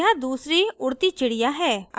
यहाँ दूसरी उड़ती हुई चिड़िया है